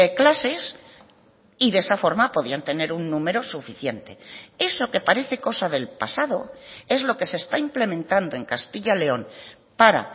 clases y de esa forma podían tener un número suficiente eso que parece cosa del pasado es lo que se está implementando en castilla y león para